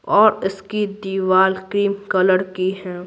और इसकी दीवार क्रीम कलर की है।